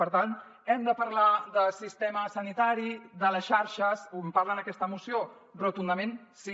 per tant hem de parlar de sistemes sanitaris de les xarxes com en parla en aquesta moció rotundament sí